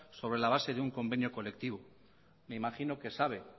sobre la base de un convenio colectivo me imagino que sabe